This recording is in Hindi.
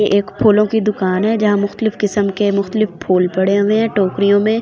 ये एक फूलों की दुकान है जहां किस्म के फूल पड़े हुए है।